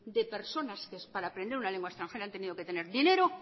de personas que para aprender una lengua extranjera han tenido que tener dinero